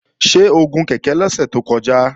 Ṣé o gun kèké lọ́sẹ̀ tó kọjá?